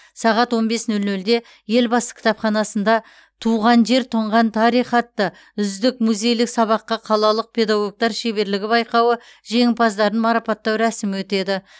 сағат он бес нөл нөлде елбасы кітапханасында туған жер тұнған тарих атты үздік музейлік сабаққа қалалық педагогтар шеберлігі байқауы жеңімпаздарын марапаттау рәсімі өтеді